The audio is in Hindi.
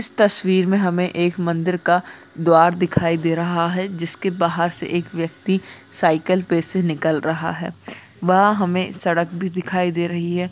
इस तस्वीर मे हमें एक मंदिर का द्वार दिखाई दे रहा है जिसके बाहर से एक व्यक्ति साइकिल पे से निकल रहा है वहाँ हमें सड़क भी दिखाई दे रही है।